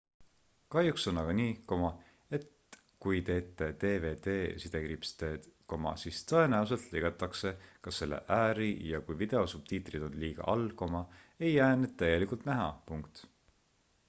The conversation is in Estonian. kahjuks on aga nii et kui teete dvd-d siis tõenäoliselt lõigatakse ka selle ääri ja kui video subtiitrid on liiga all ei jää need täielikult näha